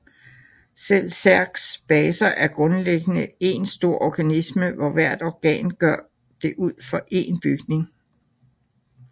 Selv Zergs baser er grundlæggende én stor organisme hvor hvert organ gør det ud for en bygning